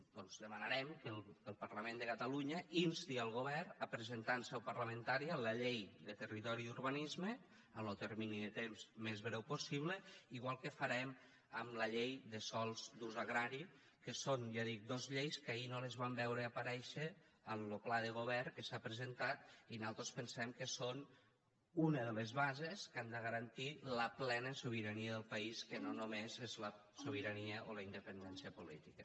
doncs demanarem que el parlament de catalunya insti el govern a presentar en seu parlamentària la llei de territori i urbanisme en lo termini de temps més breu possible igual que farem amb la llei de sòls d’ús agrari que són ja dic dos lleis que ahir no les vam veure aparèixer en lo pla de govern que s’ha presentat i nosaltres pensem que són una de les bases que han de garantir la plena sobirania del país que no només és la sobirania o la independència política